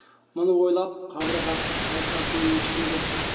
мұны ойлап қабырғасы қайысатын ешкім жоқ